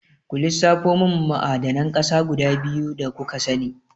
Ku lissafo mun ma'adanan ƙasa guda biyu da kuka sani?